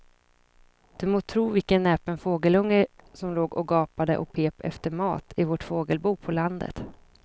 Du må tro vilken näpen fågelunge som låg och gapade och pep efter mat i vårt fågelbo på landet.